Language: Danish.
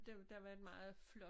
Den der var en meget flot